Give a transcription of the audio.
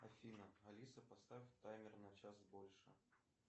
афина алиса поставь таймер на час больше